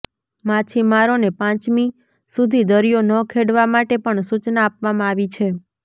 માછીમારોને પાંચમી સુધી દરિયો ન ખેડવા માટે પણ સુચના આપવામાં આવી છે